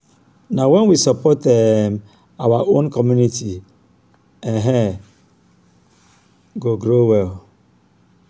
na wen we support um our own our community um go grow well.